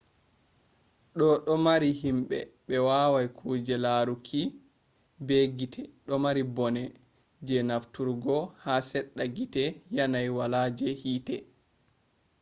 do do mari himbe be wawai kuje laruki be gite domari bone je nafturgo ha sedda hite yanayi wala je hite